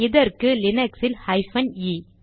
இதற்கு லீனக்ஸ் இல் ஹைபன் இ